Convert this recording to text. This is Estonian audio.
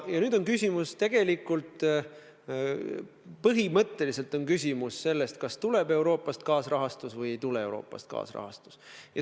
Ja nüüd on küsimus tegelikult põhimõtteliselt selles, kas tuleb Euroopast kaasrahastus või ei tule Euroopast kaasrahastus.